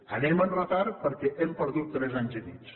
anem amb retard perquè hem perdut tres anys i mig